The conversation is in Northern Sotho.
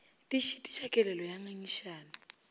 di šitiša kelelo ya ngangišano